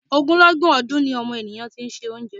Ogunlọ́gọ̀ ọdun ni ọmọnìyàn ti ń se oúnjẹ.